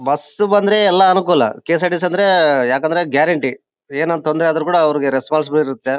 Bus ಬಂದ್ರೆ ಎಲ್ಲಾ ಅನುಕೂಲ ಕೆ.ಎಸ್.ಆರ್.ಟಿ.ಸಿ ಅಂದ್ರೆ ಯಾಕಂದ್ರೆ ಗ್ಯಾರಂಟಿ ಏನ್ ತೊಂದ್ರೆ ಆದ್ರೂ ಕೂಡ ರೆಸ್ಪೋನ್ಸಿಬಲ್ ಇರುತ್ತೆ.